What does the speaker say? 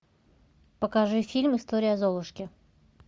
покажи фильм история золушки